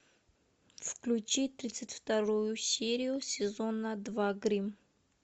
включи тридцать вторую серию сезона два гримм